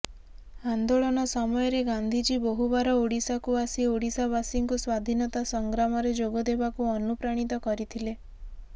ନ୍ଦୋଳନ ସମୟରେ ଗାନ୍ଧିଜୀ ବହୁବାର ଓଡିଶାକୁ ଆସି ଓଡିଶାବାସୀଙ୍କୁ ସ୍ୱାଧୀନତା ସଂଗ୍ରାମରେ ଯୋଗଦେବାକୁ ଅନୁପ୍ରାଣୀତ କରିଥିଲେ